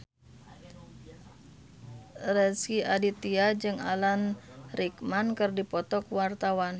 Rezky Aditya jeung Alan Rickman keur dipoto ku wartawan